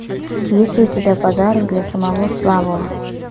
есть ли у тебя подарок для самого слабого